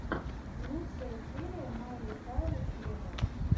лучшая серия майли сайрус вево